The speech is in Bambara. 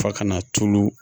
Fa ka na tulu